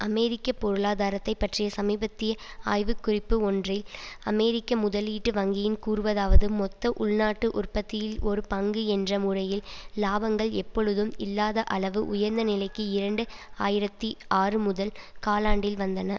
அமெரிக்க பொருளாதாரத்தை பற்றிய சமீபத்திய ஆய்வுக்குறிப்பு ஒன்றில் அமெரிக்க முதலீட்டு வங்கியின் கூறுவதாவது மொத்த உள்நாட்டு உற்பத்தியில் ஒரு பங்கு என்ற முறையில் இலாபங்கள் எப்பொழுதும் இல்லாத அளவு உயர்ந்த நிலைக்கு இரண்டு ஆயிரத்தி ஆறு முதல் காலாண்டில் வந்தன